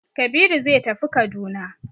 Kabiru zai tafi Kaduna.